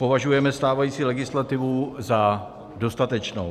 Považujeme stávající legislativu za dostatečnou.